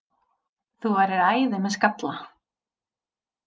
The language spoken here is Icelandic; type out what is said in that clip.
Þú værir æði með skalla!